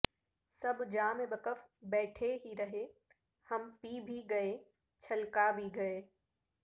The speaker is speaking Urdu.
سب جام بکف بیٹھے ہی رہے ہم پی بھی گئے چھلکا بھی گئے